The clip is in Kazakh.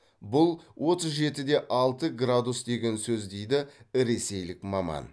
бұл отыз жеті де алты градус деген сөз деді ресейлік маман